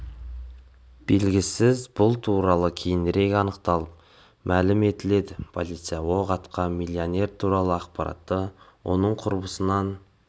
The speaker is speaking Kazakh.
белгісіз бұл туралы кейінірек анықталып мәлім етіледі полиция оқ атқан миллионер туралы ақпаратты оның құрбысынан